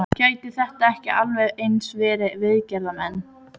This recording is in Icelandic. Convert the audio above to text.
Gætu þetta ekki alveg eins verið viðgerðarmenn?